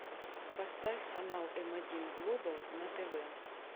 поставь канал м один глобал на тв